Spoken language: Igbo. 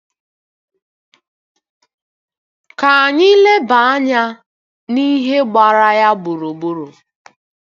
Ka anyị leba anya n'ihe gbara ya gburugburu.